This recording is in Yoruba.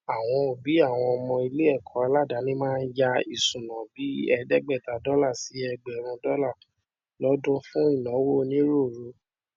àwọn òbí àwọn ọmọ iléẹkọ aládàáni máa ń yá isúná bíi ẹẹdẹgbẹta dọlà sí ẹgbẹrún dọlà lọdún fún ináwó onírúurú